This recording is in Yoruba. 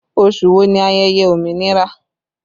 Oṣù wo ni ayẹyẹ òmìnira?